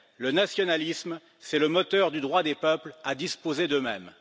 le nationalisme, c'est le moteur du droit des peuples à disposer d'eux mêmes.